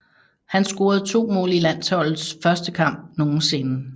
Han scorede to mål i landsholdets første kamp nogensinde